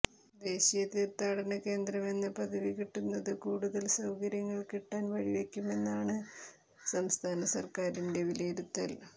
ദേശീയ തീർത്ഥാടന കേന്ദ്രമെന്ന പദവി കിട്ടുന്നത് കൂടുതൽ സൌകര്യങ്ങൾ കിട്ടാൻ വഴി വയ്ക്കുമെന്നാണ് സംസ്ഥാനസർക്കാരിന്റെ വിലയിരുത്തൽ